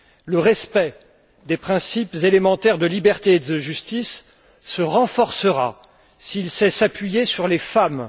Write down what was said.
Le respect des principes élémentaires de liberté et de justice se renforcera s'il sait s'appuyer sur les femmes.